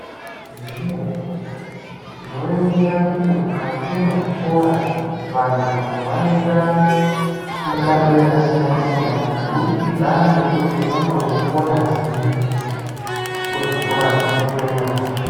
Zvemenemene tinoringira kuti mukati mwezvikora vandu vanoita mishando yakasiyana siyana kubudikidza ngekuti unenge weikona zviri kuzvikora kona ikweyo